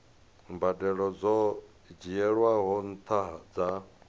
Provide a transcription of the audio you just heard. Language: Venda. mbadelo dzo dzhielwaho nṱha dza